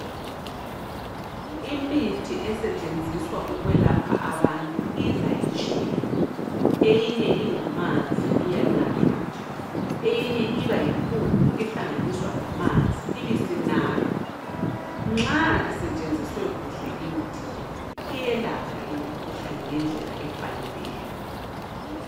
Imithi esetshenziswa ukwelapha abantu iza itshiyene. Eyinye ingamanzi iyanathwa nje, eyinye ibayimpuphu ehlanganiswa lamanzi ibisinathwa. Nxa isetshenziswe kuhle imithi le, iyelapha imikhuhlane ngendlela efaneleyo.